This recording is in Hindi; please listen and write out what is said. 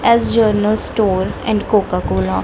ऐस general store and Coca Cola --